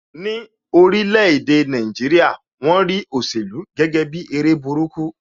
Ní orílè èdè Nàìjíríà, won rí òṣèlú gẹ́gẹ́ bi eré burúkú